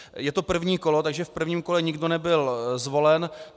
Je to první kolo, takže v prvním kole nikdo nebyl zvolen.